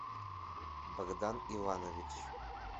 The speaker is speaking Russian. богдан иванович